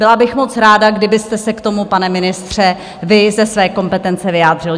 Byla bych moc ráda, kdybyste se k tomu, pane ministře, vy ze své kompetence, vyjádřil.